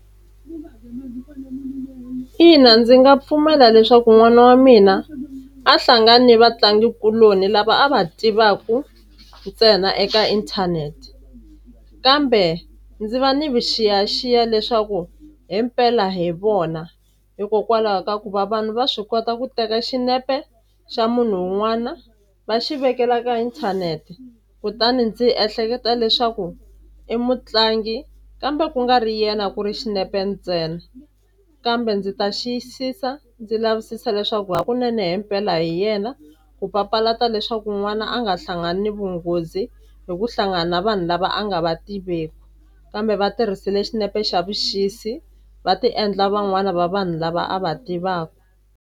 Ina ndzi nga pfumela leswaku n'wana wa mina a hlangani ni vatlangikuloni lava a va tivaku ntsena eka inthanete kambe ndzi va ni vuxiyaxiya leswaku himpela hi vona hikokwalaho ka ku va vanhu va swi kota ku teka xinepe xa munhu wun'wana va xi velekela ka inthanete kutani ndzi ehleketa leswaku i mutlangi kambe ku nga ri yena ku ri xinepe ntsena kambe ndzi ta xiyisisa ndzi lavisisa leswaku hakunene himpela hi yena ku papalata leswaku n'wana a nga hlangani vunghozi hi ku hlangana vanhu lava a nga va tiveki kambe va tirhisile xinepe xa vuxisi va ti endla van'wani va vanhu lava a va tivaku.